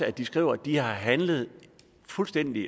at de skriver at de har handlet fuldstændig